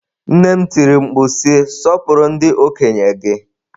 Nne m tiri mkpu si, Sọpụrụ ndị okenye gị!